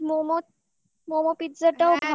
momo momo, pizza ও ভালো